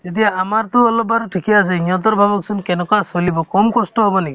এতিয়া আমাৰতো অলপ বাৰু ঠিকে আছে সিহঁতৰ ভাবকচোন কেনেকুৱা চলিব কম কষ্ট হ'ব নেকি